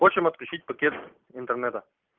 просим отключить пакет интернета